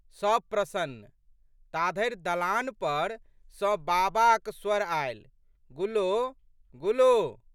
सब प्रशन्न। ताधरि दलान पर सँ बाबाक स्वर आयल, गुल्लो..गुल्लो!